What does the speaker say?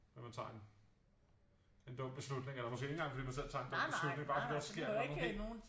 Fordi man tager en en dum beslutning eller måske ikke engang fordi man selv tager en dum beslutning bare fordi der sker et eller andet helt